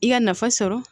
I ka nafa sɔrɔ